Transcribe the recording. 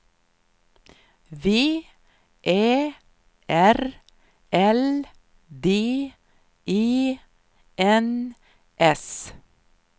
V Ä R L D E N S